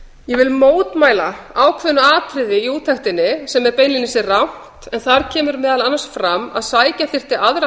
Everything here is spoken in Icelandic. ég vil mótmæla ákveðnu atriði í úttektinni sem er beinlínis rangt en þar kemur meðal annars fram að sækja þyrfti